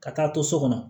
Ka taa to so kɔnɔ